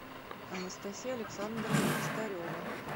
анастасия александровна костарева